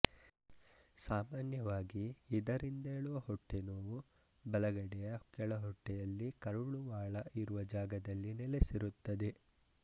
ಸಾಮಾನ್ಯವಾಗಿ ಇದರಿಂದೇಳುವ ಹೊಟ್ಟೆನೋವು ಬಲಗಡೆಯ ಕೆಳಹೊಟ್ಟೆಯಲ್ಲಿ ಕರುಳುವಾಳ ಇರುವ ಜಾಗದಲ್ಲಿ ನೆಲೆಸಿರುತ್ತದೆ